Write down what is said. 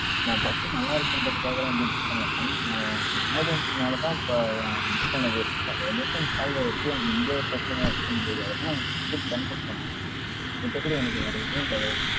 நான் bus ஊ நல்லா இருக்குன்றதுகாகலா ஒன்னு book பன்னல madam. நான் ஏன் emergency நாலதான் இப்ப நான் book பண்ணதே. இப்ப ஏன் mission solve ஆயிடுச்சு. எனக்கு இங்க ஒரு பிரச்சனை ஆயிடுச்சின்றதுக்காக தான், நான் ticket cancel பண்ண. மித்தபடி எனக்கு வேற எதும் கிடையாது madam.